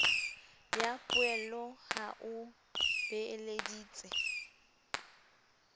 ya poello ha o beeleditse